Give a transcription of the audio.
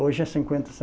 Hoje é cinquenta cen